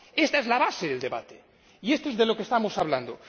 Ésta es la base del debate, que es de lo que estamos hablando.